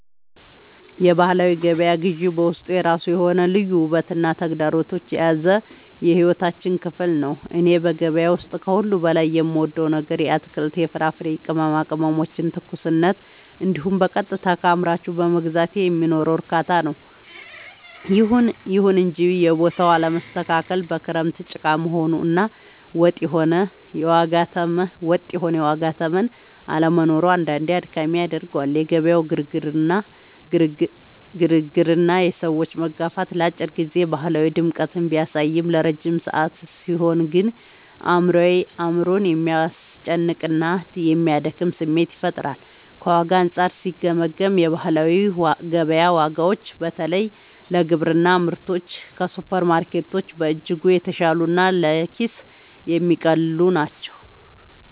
የባህላዊ ገበያ ግዢ በውስጡ የራሱ የሆነ ልዩ ውበትና ተግዳሮት የያዘ የሕይወታችን ክፍል ነው። እኔ በገበያ ውስጥ ከሁሉ በላይ የምወደው ነገር የአትክልት፣ የፍራፍሬና የቅመማ ቅመሞችን ትኩስነት እንዲሁም በቀጥታ ከአምራቹ በመግዛቴ የሚኖረውን እርካታ ነው። ይሁን እንጂ የቦታው አለመስተካከል፣ በክረምት ጭቃ መሆኑ እና ወጥ የሆነ የዋጋ ተመን አለመኖሩ አንዳንዴ አድካሚ ያደርገዋል። የገበያው ግርግርና የሰዎች መጋፋት ለአጭር ጊዜ ባህላዊ ድምቀትን ቢያሳይም፣ ለረጅም ሰዓት ሲሆን ግን አእምሮን የሚያስጨንቅና የሚያደክም ስሜት ይፈጥራል። ከዋጋ አንጻር ሲገመገም፣ የባህላዊ ገበያ ዋጋዎች በተለይ ለግብርና ምርቶች ከሱፐርማርኬቶች በእጅጉ የተሻሉና ለኪስ የሚቀልሉ ናቸው።